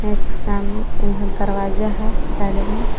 एक सामने इधर दरवाजा है साइड में--